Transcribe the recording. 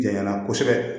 Janya kosɛbɛ